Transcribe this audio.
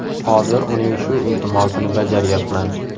Hozir uning shu iltimosini bajaryapman.